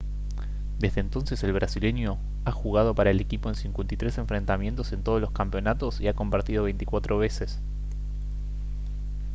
desde entonces el brasileño ha jugado para el equipo en 53 enfrentamientos en todos los campeonatos y ha convertido 24 veces